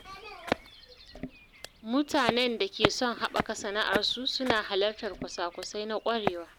Mutanen da ke son haɓaka sana’arsu suna halartar kwasa-kwasai na ƙwarewa.